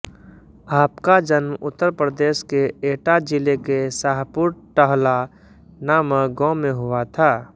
आपका जन्म उत्तर प्रदेश के एटा जिले के शाहपुर टहला नामक गाँव में हुआ था